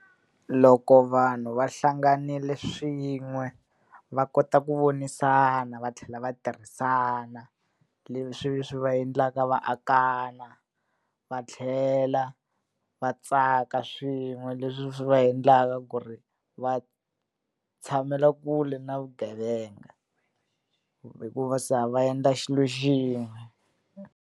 Loko vanhu va hlanganile swin'we, va kota ku vonisana va tlhela va tirhisana. Leswi swi va endlaka va akana, va tlhela va tsaka swin'we, leswi swi va endlaka ku ri va tshamela kule na vugevenga. Hikuva se va endla xilo xin'we.